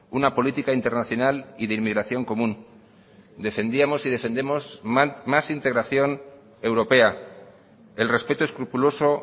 una política internacional y de inmigración común defendíamos y defendemos más integración europea el respeto escrupuloso